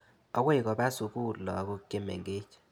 Akoi kopa sukul lagok che mengech.